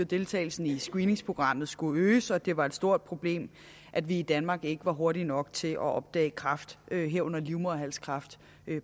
deltagelsen i screeningsprogrammet skulle øges og at det var et stort problem at vi i danmark ikke var hurtige nok til at opdage kræft herunder livmoderhalskræft